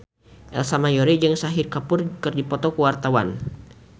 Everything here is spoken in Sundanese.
Ersa Mayori jeung Shahid Kapoor keur dipoto ku wartawan